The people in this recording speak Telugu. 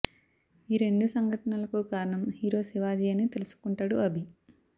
ఈ రెండు సంఘటనలకు కారణం హీరో శివాజీ అని తెలుసుకుంటాడు అభి